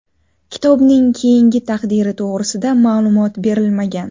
Kitobning keyingi taqdiri to‘g‘risida ma’lumot berilmagan.